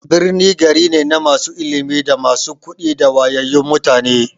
Birni gari ne na masu ilimi, da masu kuɗi da wayayyun mutane.